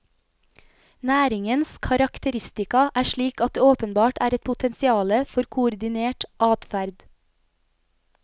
Næringens karakteristika er slik at det åpenbart er et potensiale for koordinert adferd.